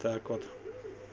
так вот